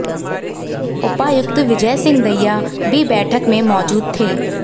उपायुक्त विजय सिंह दहिया भी बैठक में मौजूद थे